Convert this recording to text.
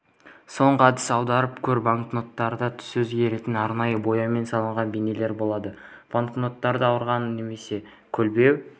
соңғы әдіс аударып көр банкноттарда түсі өзгеретін арнайы бояумен салынған бейнелер болады банкноттарды аударған немесе көлбеу